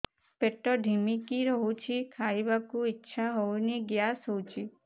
ପେଟ ଢିମିକି ରହୁଛି ଖାଇବାକୁ ଇଛା ହଉନି ଗ୍ୟାସ ହଉଚି